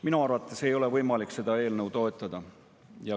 Minu arvates ei ole võimalik seda eelnõu toetada.